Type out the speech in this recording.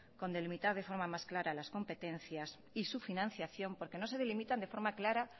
con delimitar de forma más clara las competencias y su financiación porque no se delimitan de forma clara